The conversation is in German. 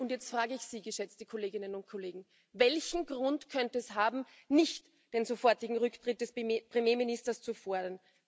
Und jetzt frage ich Sie, geschätzte Kolleginnen und Kollegen Welchen Grund könnte es haben, nicht den sofortigen Rücktritt des Premierministers zu fordern?